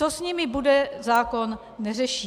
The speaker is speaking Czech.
Co s nimi bude, zákon neřeší.